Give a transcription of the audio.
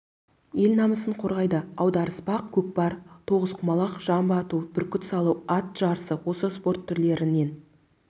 ел намысын қорғайды аударыспақ көкпар тоғызқұмалақ жамба ату бүркіт салу ат жарысы осы спорт түрлерінен